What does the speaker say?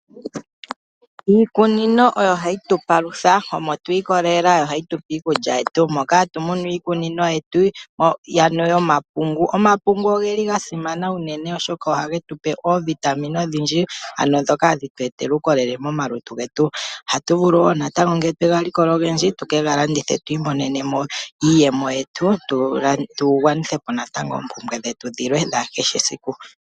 Iikunino oyo hayi tu palutha, omo twi ikolelela yo ohayi tupe iikulya yetu moka tuna iikunino yetu mbyoka yomapungu. Omapungu ogeli ga simana unene oshoka oha ge tupe oovitamine odhindji ano ndhoka hadhi tu etele uukolele momalutu getu. Ohatu vulu woo natango ngele twe ga likola ogendji tu kega landithe twi imoneneml iiyemo yetu tu gwanithepo natango oompumbwe dhetu dhilwe dha kehe esiku.